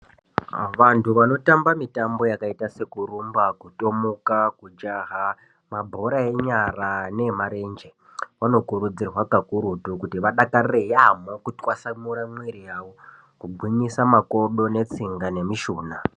Vantu vanotamba mitambo yakaita sekurumba, kutomuka, kujaha, mabhora enyara nemarenje vanokurudzirwa pakurutu kuti vadakarire yaambo kutwasamura mwiri yavo, kugwinyisa makodo netsinga nemishuna.